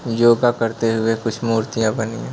योग करते हुए कुछ मुर्तियां बनी है।